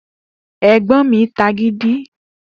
Egbon mi tagidi